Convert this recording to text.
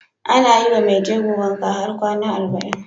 Ana yiwa Mai jego wanka har kwAna arba'in